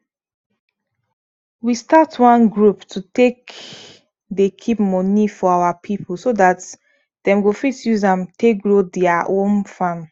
we start one group to take dey keep money for our people so dat dem go fit use am take grow dia own farm